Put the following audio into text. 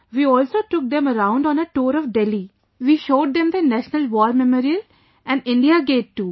We also took them around on a tour of Delhi; we showed them the National war Memorial & India Gate too